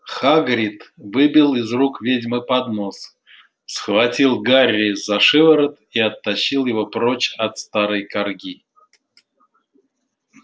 хагрид выбил из рук ведьмы поднос схватил гарри за шиворот и оттащил его прочь от старой карги